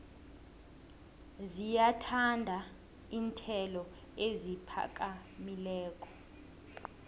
ziyathanda iinyathelo eziphakamileko